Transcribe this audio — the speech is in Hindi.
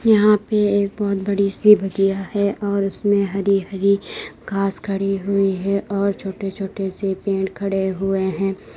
यहां पे एक बहुत बड़ी सी बगिया है और उसमें हरी हरी घास खड़ी हुई है और छोटे छोटे से पेड़ खड़े हुए हैं।